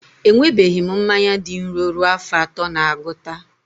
Enwebeghị m mmanya dị nro ruo afọ atọ na agụta